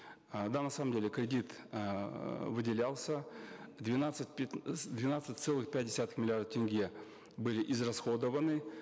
э да на самом деле кредит эээ выделялся двенадцать двенадцать целых пять десятых миллиарда тенге были израсходованы